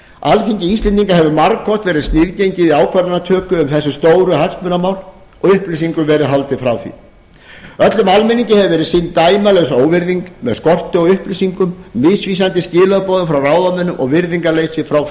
alþingi íslendinga hefur margoft verið sniðgengið í ákvarðanatöku um þessi stóru hagsmunamál og íslendingum verið haldið frá því öllum almenningi hefur verið sýnd dæmalaus óvirðing með skorti á upplýsingum misvísandi skilaboðum frá ráðamönnum og virðingarleysi frá